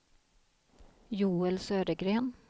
Joel Södergren